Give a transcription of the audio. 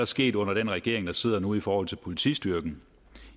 sket under den regering der sidder nu i forhold til politistyrken